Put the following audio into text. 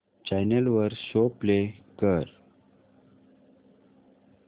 channel वर show play कर